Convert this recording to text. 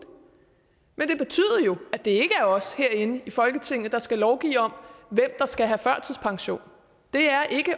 i jo at det ikke er os herinde i folketinget der skal lovgive om hvem der skal have førtidspension det er ikke